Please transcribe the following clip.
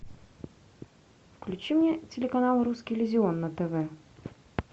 включи мне телеканал русский иллюзион на тв